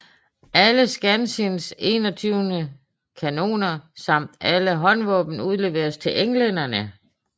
Alle Skansins 21 kanoner samt alle håndvåben udleveres til englænderne